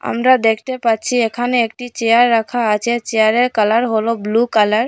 আমরা দেখতে পাচ্ছি এখানে একটি চেয়ার রাখা আছে চেয়ারের কালার হল ব্লু কালার ।